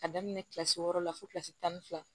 Ka daminɛ kilasi wɔɔrɔ la fo kilasi tan ni fila